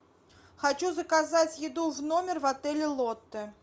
хочу заказать еду в номер в отеле лотто